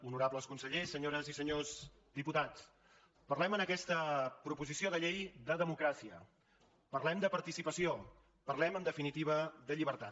honorables consellers senyores i senyors diputats parlem en aquesta proposició de llei de democràcia parlem de participació parlem en definitiva de llibertat